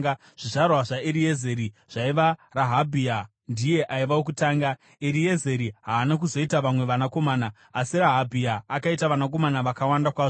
Zvizvarwa zvaEriezeri zvaiva: Rehabhia ndiye aiva wokutanga. (Eriezeri haana kuzoita vamwe vanakomana, asi Rehabhia akaita vanakomana vakawanda kwazvo.)